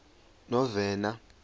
novena